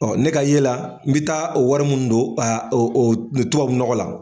ne ka ye la i bi taa o wari munnu don o o tubabu nɔgɔ la